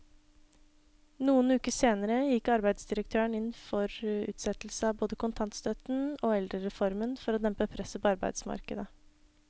Noen uker senere gikk arbeidsdirektøren inn for utsettelse av både kontantstøtten og eldrereformen for å dempe presset på arbeidsmarkedet.